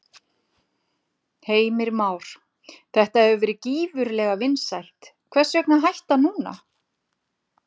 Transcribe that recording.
Heimir Már: Þetta hefur verið gífurlega vinsælt, hvers vegna að hætta núna?